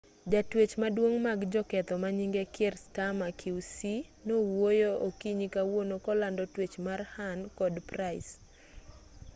jatwech maduong' mag joketho manyinge kier starmer qc nowuoyo okinyi kawuono kolando twech mar huhne kod pryce